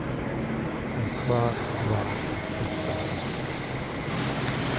En hvað var þetta?